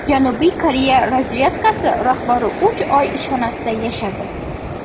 Janubiy Koreya razvedkasi rahbari uch oy ishxonasida yashadi.